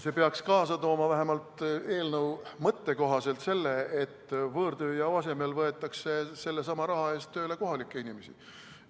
See peaks kaasa tooma vähemalt eelnõu mõtte kohaselt selle, et võõrtööjõu asemel võetakse sellesama raha eest tööle kohalikke inimesi.